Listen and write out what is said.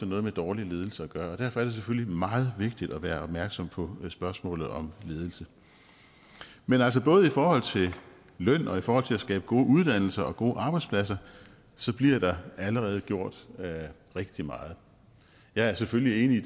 noget med dårlig ledelse at gøre og derfor er det selvfølgelig meget vigtigt at være opmærksom på spørgsmålet om ledelse men altså både i forhold til løn og i forhold til at skabe gode uddannelser og gode arbejdspladser bliver der allerede gjort rigtig meget jeg er selvfølgelig enig i